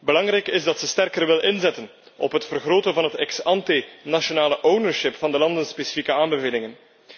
Belangrijk is dat ze sterker wil inzetten op het vergroten van het ex ante nationale ownership van de landenspecifieke aanbevelingen.